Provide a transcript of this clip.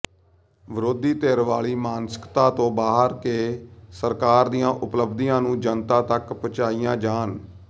ਵਿਰੋਧੀ ਧਿਰ ਵਾਲੀ ਮਾਨਸਿਕਤਾ ਤੋਂ ਬਾਹਰ ਕੇ ਸਰਕਾਰ ਦੀਆਂ ਉਪਲਬਧੀਆਂ ਨੂੰ ਜਨਤਾ ਤਕ ਪਹੁੰਚਾਈਆਂ ਜਾਣ